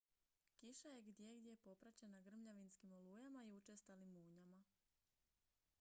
kiša je gdjegdje popraćena grmljavinskim olujama i učestalim munjama